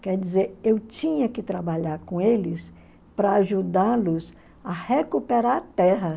Quer dizer, eu tinha que trabalhar com eles para ajudá-los a recuperar a terra.